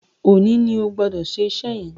Òní ní Ogbodo ṣe iṣé yén!